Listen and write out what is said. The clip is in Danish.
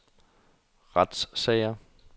retssager